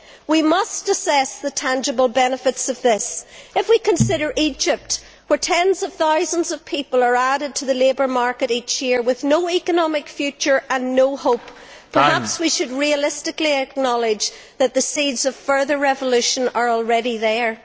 We must assess the tangible benefits of this. If we consider Egypt, where tens of thousands of people are added to the labour market each year with no economic future and no hope, perhaps we should realistically acknowledge that the seeds of further revolution are already there.